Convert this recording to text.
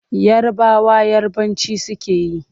Yarabawa Yarabanci suke yi.